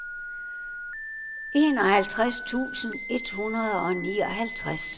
enoghalvtreds tusind et hundrede og nioghalvtreds